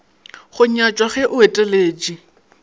go nyatšwa ge o eteletše